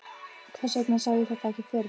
Hvers vegna sá ég þetta ekki fyrir?